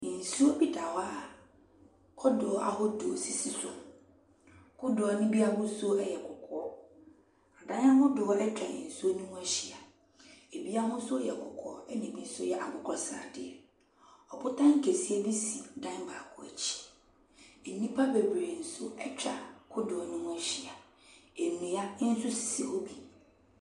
Nsuo bi da hɔ a kodoɔ ahodoɔ sisi so. Kodoɔ no bi ahosuo yɛ kɔkɔɔ. Dan ahodoɔ atwa nsuo no ho ahyia. Ɛbi ahosuoyɛ kɔkɔɔ, ɛna ɛbi nso yɛ akokɔsradeɛ. Ɔbota kɛseɛ bi si dan baako akyi. Nnipa bebree nso akwa kotoɔ no ho ahyia. Nnua nso sisi hɔ bi.